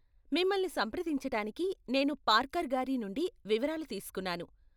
మిమ్మల్ని సంప్రదించటానికి నేను పార్కర్గారి నుండి వివరాలు తీస్కున్నాను.